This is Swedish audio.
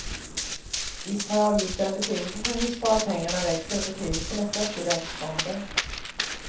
Visst har avgifterna betydelse för hur sparpengarna växer och betydelsen är störst i räntefonder.